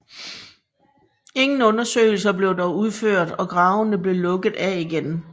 Ingen undersøgelser blev dog udført og gravene blev lukket af igen